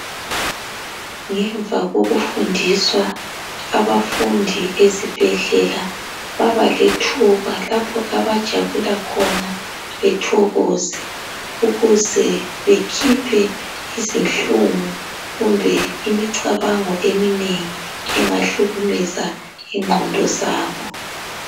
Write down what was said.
Ngemva kokufundiswa abafundi esibhedlela babalethuba lapho abajabula khona bethokoze ukuze bekhiphe izinhlungu kumbe imicabango eminengi engahlukumeza ingqondo zabo